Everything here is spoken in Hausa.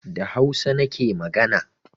Da hausa nake magana